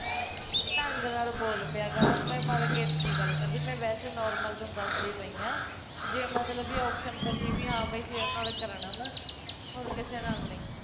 ਢੰਗ ਨਾਲ਼ ਬੋਲ ਲਿਆ ਕਰ ਮੈਂ ਮਰਕਤ ਦੀ ਨੀ ਗੱਲ ਕਰਦੀ ਪਈ ਮੈਂ ਵੈਸੇ normal ਤੇਨੂੰ ਦੱਸਦੀ ਪਈ ਆ ਜੇ ਮਤਲਬ ਵੀ option ਬਚੀ ਵੀ ਹਾਂ ਬਈ ਤੇਰੇ ਨਾਲ਼ ਈ ਕਰਾਉਣਾ ਵਾਂ ਹੋਰ ਕਿਸੇ ਨਾਲ਼ ਨੀ